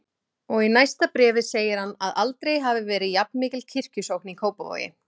Og í næsta bréfi segir hann að aldrei hafi verið jafnmikil kirkjusókn í Kópavogi.